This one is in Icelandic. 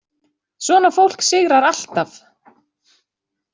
Svona fólk sigrar alltaf.